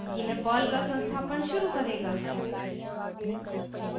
यह पर्ल का संस्थापन शुरू करेगा